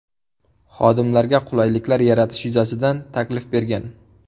Xodimlarga qulayliklar yaratish yuzasidan taklif bergan.